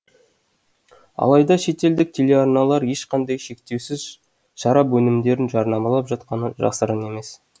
алайда шетелдік телеарналар ешқандай шектеусіз шарап өнімдерін жарнамалап жатқаны жасырын емес